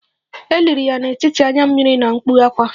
E liri ya n'etiti anya mmiri na mkpu ákwá